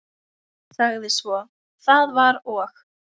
Sagði svo: Það var og